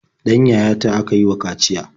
Ɗan yayata aka yi wa kaciya.